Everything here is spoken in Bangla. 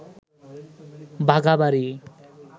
বাঘাবাড়ি